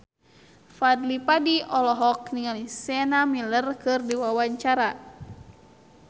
Fadly Padi olohok ningali Sienna Miller keur diwawancara